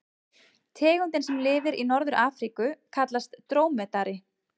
Tegundin sem lifir í Norður-Afríku kallast drómedari.